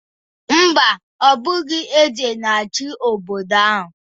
Mba, ọ bụghị eze na-achị obodo ahụ